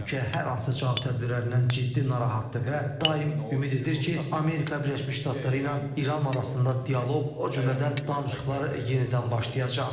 Ölkə hər hansı cavab tədbirlərindən ciddi narahatdır və daim ümid edir ki, Amerika Birləşmiş Ştatları ilə İran arasında dialoq, o cümlədən danışıqlar yenidən başlayacaq.